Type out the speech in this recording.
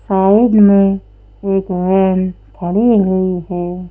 Side में एक van खड़ी हुई है।